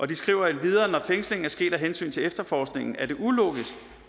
de skriver endvidere at når fængslingen er sket af hensyn til efterforskningen er det ulogisk